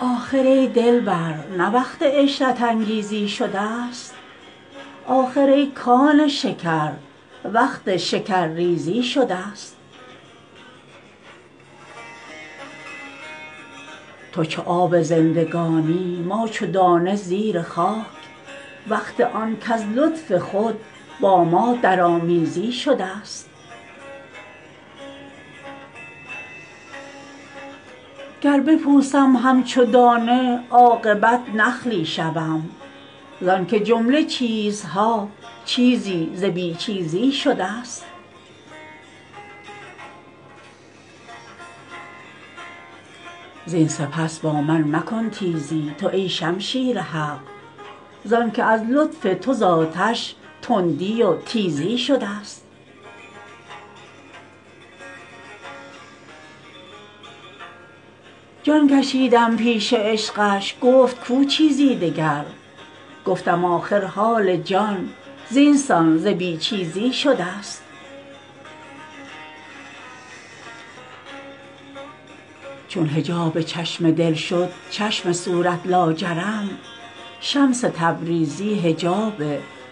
آخر ای دلبر نه وقت عشرت انگیزی شدست آخر ای کان شکر وقت شکرریزی شدست تو چو آب زندگانی ما چو دانه زیر خاک وقت آن کز لطف خود با ما درآمیزی شدست گر بپوسم همچو دانه عاقبت نخلی شوم زانک جمله چیزها چیزی ز بی چیزی شدست زین سپس با من مکن تیزی تو ای شمشیر حق زانک از لطف تو ز آتش تندی و تیزی شدست جان کشیدم پیش عشقش گفت کو چیزی دگر گفتم آخر جان جان زین سان ز بی چیزی شدست چون حجاب چشم دل شد چشم صورت لاجرم شمس تبریزی حجاب